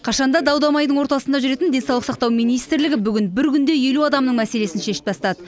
қашан да дау дамайдың ортасында жүретін денсаулық сақтау министрлігі бүгін бір күнде елу адамның мәселесін шешіп тастады